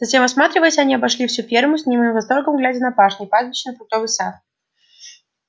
затем осматриваясь они обошли всю ферму с немым восторгом глядя на пашни пастбища на фруктовый сад